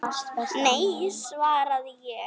Nei, svaraði ég.